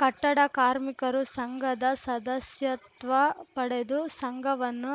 ಕಟ್ಟಡ ಕಾರ್ಮಿಕರು ಸಂಘದ ಸದಸ್ಯತ್ವ ಪಡೆದು ಸಂಘವನ್ನು